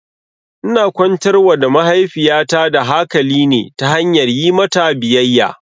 Ina kwantar wa da mahaifiyata da hakali ne ta hanyar yi mata biyayya